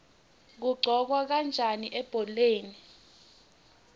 kuqhokwa kanjani ebholeni